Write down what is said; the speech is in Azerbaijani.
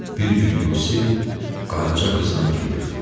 Bir gün Yusif Qaraca qızla gedirdi.